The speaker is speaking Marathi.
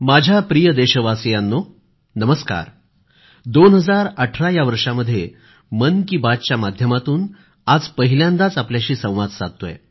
माझ्या प्रिय देशवासियांनो नमस्कार 2018 या वर्षामध्ये मन की बातच्या माध्यमातून आज पहिल्यांदाच आपल्याशी संवाद साधतोय